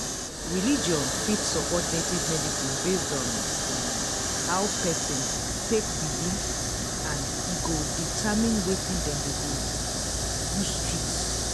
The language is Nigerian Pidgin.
religion fit support native medicine based on um how person take believe and e go determine wetin dem go use treat.